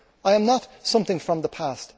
I am not something from the past.